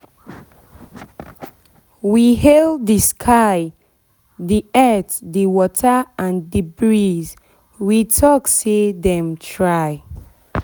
we hail the sky the earth the water and the breeze we talk say them try